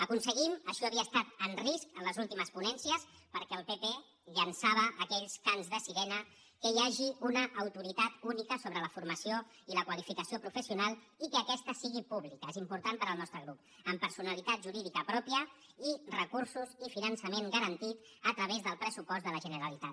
aconseguim això havia estat en risc en les últimes ponències perquè el pp llançava aquells cants de sirena que hi hagi una autoritat única sobre la formació i la qualificació professional i que aquesta sigui pública és important per al nostre grup amb personalitat jurídica pròpia recursos i finançament garantit a través del pressupost de la generalitat